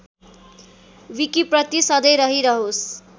विकिप्रति सधैँ रहिरहोस्